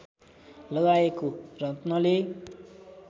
लगाएको रत्नले